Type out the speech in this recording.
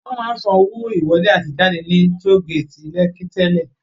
Wọn máa ń san owó ìwọlé àti ìjáde ní Toll gate Lekki tẹ́lẹ̀